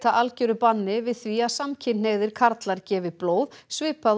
algeru banni við því að samkynhneigðir karlar gefi blóð svipað